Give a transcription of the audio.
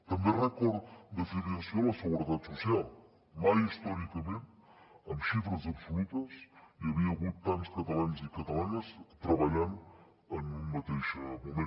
també rècord d’afiliació a la seguretat social mai històricament en xifres absolutes hi havia hagut tants catalans i catalanes treballant en un mateix moment